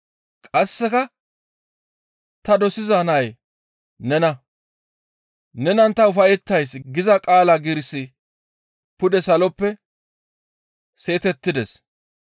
Qasseka, «Ta dosiza Nay nena, nenan ta ufayettays» giza qaala giirissi pude saloppe seetettides.